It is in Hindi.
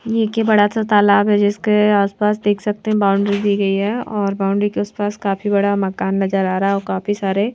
ये एक ये बड़ा सा तालाब है जिसके आसपास देख सकते हैं बाउंड्री दी गई है और बाउंड्री के आसपास काफी बड़ा मकान नजर आ रहा है और काफी सारे --